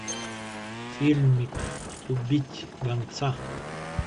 фильмик убить гонца